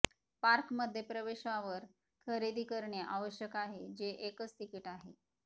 park मध्ये प्रवेशावर खरेदी करणे आवश्यक आहे जे एकच तिकीट आहे